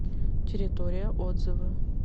территория отзывы